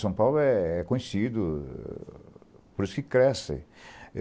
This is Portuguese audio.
São Paulo é é conhecido, por isso que cresce.